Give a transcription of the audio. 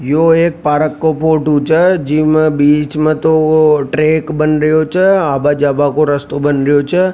यो एक पार्क का फोटो छ जिमे बीच में तो वो ट्रैक बन रियो छ आवा जावा को रास्तो बन रियो छ।